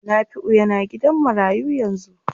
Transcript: Nafiu yana gidan marayu yanzu.